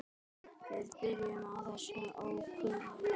Við byrjum á þessum ókunna.